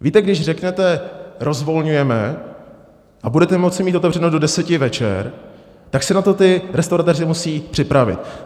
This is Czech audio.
Víte, když řeknete rozvolňujeme a budete moci mít otevřeno do deseti večer, tak se na to ti restauratéři musí připravit.